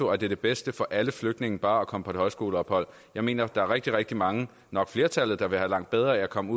er det bedste for alle flygtninge bare at komme på et højskoleophold jeg mener at der er rigtig rigtig mange nok flertallet der vil have langt bedre af at komme